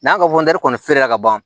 N'an ka kɔni feere la ka ban